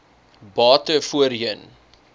bate voorheen